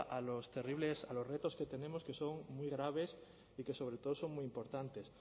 a los terribles a los retos que tenemos que son muy graves y que sobre todo son muy importantes